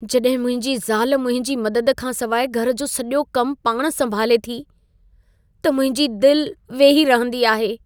जॾहिं मुंहिंजी ज़ाल मुंहिंजी मदद खां सवाइ घर जो सॼो कमु पाण संभाले थी, त मुंहिंजी दिल वेही रहंदी आहे।